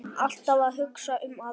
Alltaf að hugsa um aðra.